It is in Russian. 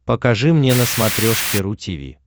покажи мне на смотрешке ру ти ви